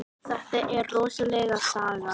Þetta er rosaleg saga.